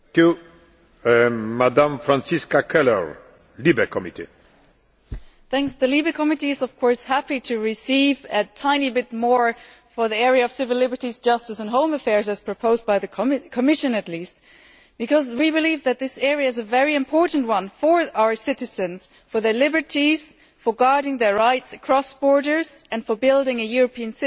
Mr President, the Civil Liberties, Justice and Home Affairs is of course happy to receive a tiny bit more for the area of civil liberties, justice and home affairs as proposed by the Commission at least because we believe that this area is a very important one for our citizens, for their liberties, for safeguarding their rights across borders and for building a European citizenship.